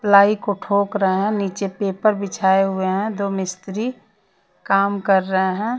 Ply को ठोक रहे हैं नीचे पेपर बिछाए हुए हैं दो मिस्त्री काम कर रहे हैं।